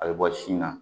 A bɛ bɔ sin na